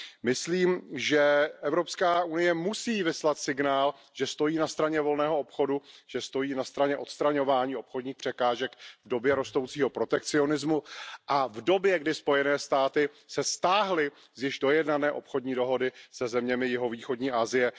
Myslím, že EU musí vyslat signál, že stojí na straně volného obchodu, že stojí na straně odstraňování obchodních překážek v době rostoucího protekcionismu a v době, kdy Spojené státy se stáhly z již dojednané obchodní dohody se zeměmi jihovýchodní Asie.